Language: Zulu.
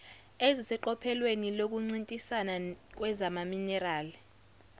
eziseqophelweni lokuncintisana kwezamaminerali